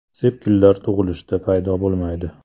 Sepkillar tug‘ilishda paydo bo‘lmaydi.